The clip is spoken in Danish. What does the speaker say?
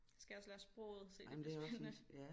Skal også lære sproget så det bliver spændende